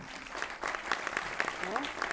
હઅ.